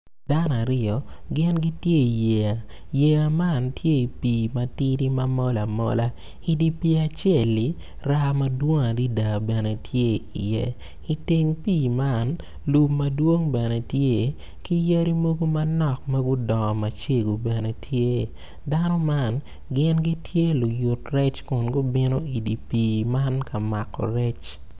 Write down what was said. Dan aryo gin gitye iyeya, yeya man tye i pii matidi ma mol amola idye pii acel-li raa madwong adada bene tye i iye iteng pii man lum madwong bene tye ki yadi mogo manok ma gudongo macego bene tye dano man gin gitye luyut rec kun gubino odye pii man ka mako rec